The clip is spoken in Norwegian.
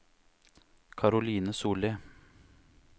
Caroline Solli